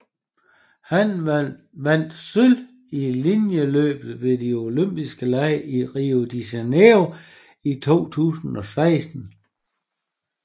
Han vandt sølv i linjeløbet ved de Olympiske Lege i Rio de Janeiro i 2016